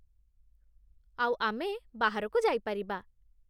ଆଉ ଆମେ ବାହାରକୁ ଯାଇପାରିବା ।